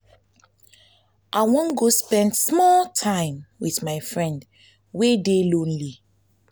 i wan go spend small time wit my friend wey dey lonely.